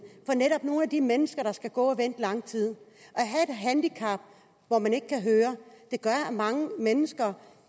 for netop nogle af de mennesker der skal gå og vente lang tid at handicap hvor man ikke kan høre gør at mange mennesker